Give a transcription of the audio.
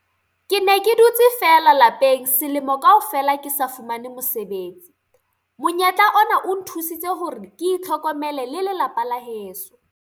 "Ke ne ke dutse feela lapeng selemo kaofela ke sa fumane mosebetsi. Monyetla ona o nthusitse hore ke itlhokomele le lelapa la heso."